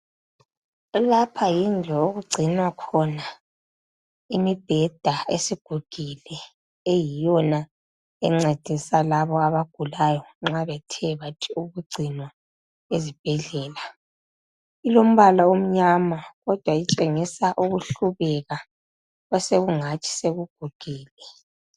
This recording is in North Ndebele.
Lapha yindlu okugcinelwa khona imibheda esigugile eyiyona encedisa labo abagulayo nxa bethebathi ukugcinwa ezibhedlela ilombala omnyama kodwa itshengisa ukuhlubeka osekungathi sokugugile.